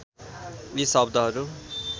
यी शब्दहरू